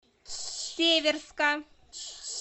северска